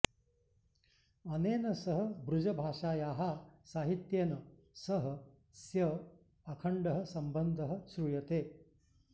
अनेन सह बृजभाषायाः साहित्येन सह स्य अखण्डः सम्बन्धः श्रूयते